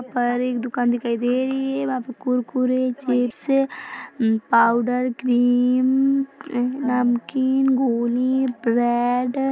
यहाँ पर एक दुकान दिखाई दे रही हैं वहाँ पे कुरकुरेचिप्स पाउडर क्रीम नमकीनगोली ब्रेड ।